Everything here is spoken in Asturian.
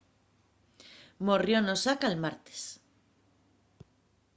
morrió n’osaka'l martes